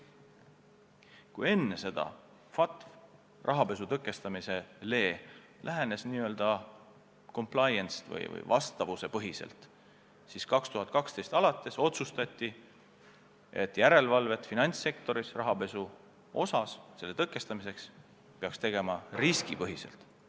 Kui enne lähenes FATF rahapesu tõkestamisele n-ö complianced või vastavuspõhiselt, siis 2012. aastast alates otsustati, et järelevalvet finantssektoris rahapesu tõkestamiseks peaks tegema riskipõhiselt.